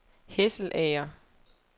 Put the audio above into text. Hesselager